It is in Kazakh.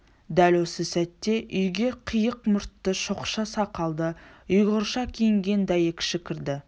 дәл осы сәтте үйге қияқ мұртты шоқша сақалды ұйғырша киінген дәйекші кірді